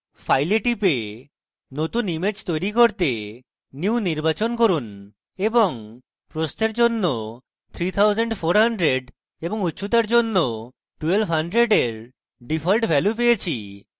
file we টিপে নতুন image তৈরী করতে new নির্বাচন করুন এবং প্রস্থের জন্য 3400 এবং উচ্চতার জন্য 1200 এর ডিফল্ট value পেয়েছি